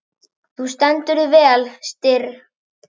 Þú stendur þig vel, Styrr!